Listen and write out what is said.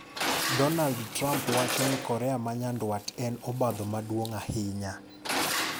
Donald Trump wacho ni Korea ma nyandwat en obadho maduong' ahinya.